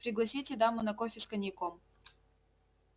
пригласите даму на кофе с коньяком